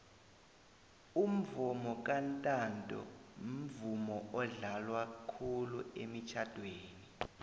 umvomo kantanto mvumo odlalwa khulu emitjhadweni